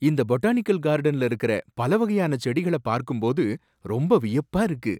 இந்த பொட்டானிக்கல் கார்டன்ல இருக்குற பல வகையான செடிகளை பார்க்கும்போது ரொம்ப வியப்பா இருக்கு.